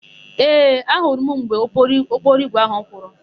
Ee, ahụrụ m mgbe ụgbọokporoigwe áhụ̀ pụrụ.